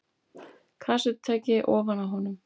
Kassettutæki ofan á honum.